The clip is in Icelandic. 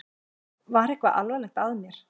Var eitthvað alvarlegt að mér?